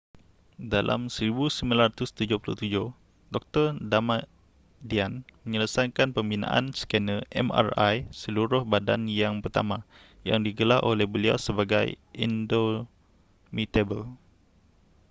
dalam 1977 dr damadian menyelesaikan pembinaan scanner mri seluruh badan yang pertama yang digelar oleh beliau sebagai indomitable